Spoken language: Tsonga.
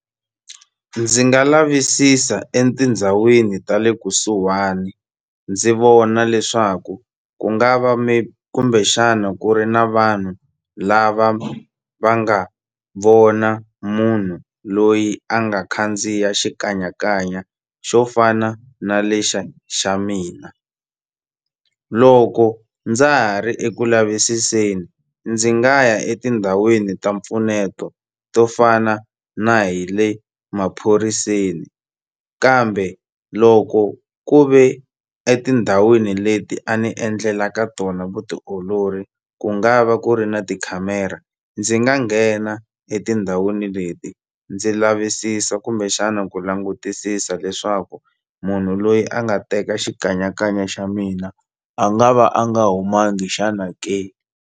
Ndzi nga lavisisa etindhawini ta le kusuhani ndzi vona leswaku ku nga va maybe kumbexana ku ri na vanhu lava va nga vona munhu loyi a nga khandziya xikanyakanya xo fana na lexi xa mina loko ndza ha ri eku lavisiseni ndzi nga ya etindhawini ta mpfuneto to fana na hi le maphoriseni kambe loko ku ve etindhawini leti a ni endlela ka tona vutiolori ku nga va ku ri na tikhamera ndzi nga nghena etindhawini leti ndzi lavisisa kumbexana ku langutisisa leswaku munhu loyi a nga teka xikanyakanya xa mina a nga va a nga humangi xana ke.